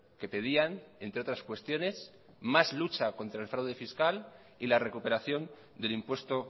que pedían entre otras cuestiones más lucha contra el fraude fiscal y la recuperación del impuesto